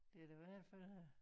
Det er da hvert fald øh